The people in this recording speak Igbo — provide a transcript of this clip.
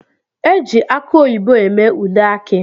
Eji akụ oyibo eme ude aki